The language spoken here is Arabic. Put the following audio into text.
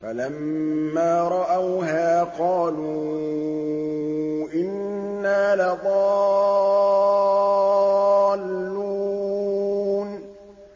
فَلَمَّا رَأَوْهَا قَالُوا إِنَّا لَضَالُّونَ